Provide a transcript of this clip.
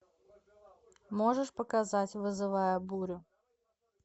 можешь показать вызывая бурю